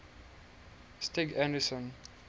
stig anderson